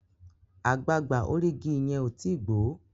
àgbagbà orí ìgi yén o tí gbó